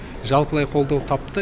жалпылай қолдау тапты